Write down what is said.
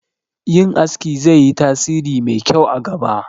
Yin aski zai yi tasiri mai kyau a gaba